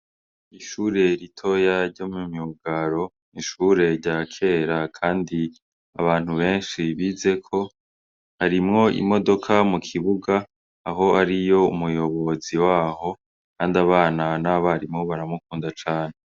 Ishure ritoya ryo mu myugaro ni ishure rya kera kandi abantu benshi bizeko, harimwo imodoka mu kibuga aho ariyo umuyobozi waho kandi abana n'abarimu baramukunda cane.